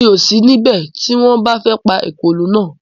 Mi ò ní sí ní bẹ̀ tí wọ́n bá fẹ́ pa èkòló naa